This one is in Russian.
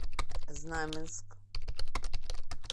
знаменск